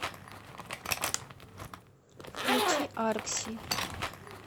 включи аркси